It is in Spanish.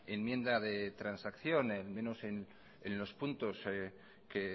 enmienda de transacción menos en los puntos que